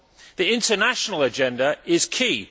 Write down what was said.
The international agenda is key.